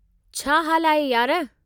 छा हाल आहे, यार?